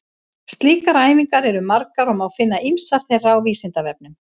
Slíkar æfingar eru margar og má finna ýmsar þeirra á Vísindavefnum.